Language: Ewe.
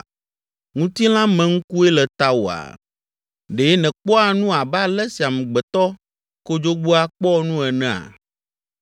Ŋutilãmeŋkue le tawòa? Ɖe nèkpɔa nu abe ale si amegbetɔ kodzogbea kpɔa nu enea?